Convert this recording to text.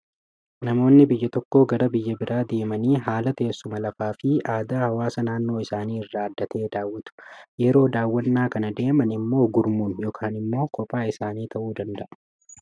Namoonni biyya tokkoo gara biyya biraa deemanii haala teessuma lafaa fi aadaa hawaasa naannoo isaanii irraa adda ta'ee daawwatu. Yeroo daawwannaa kana deeman immoo gurmuun yookaan immoo kophaa isaanii ta'uu danda'a.